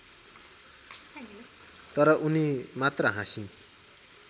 तर उनी मात्र हाँसिन्